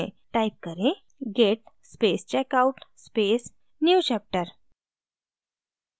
type करें: git space checkout space newchapter